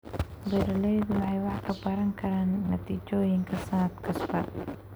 Beeraleydu waxay wax ka baran karaan natiijooyinka sannad kasta.